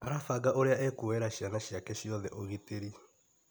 Arabanga ũrĩa ekuoera ciana ciake ciothe ũgitĩri.